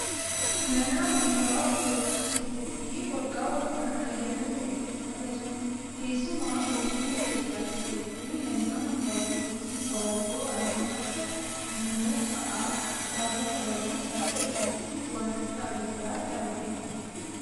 Mana amantaa orthodoksii keessatti waggaa waggaan ayyaanota hedduutu kabajama. Keessumaa biyya keenya Itoophiyaa keessatti manni amantaa orthodoksii tawaahidoo ayyaana akka fannoo fa'aa gaafa kabaju harka isaatti waan akka abiddaa qabateeti